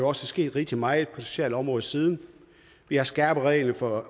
også sket rigtig meget på det sociale område siden vi har skærpet reglerne for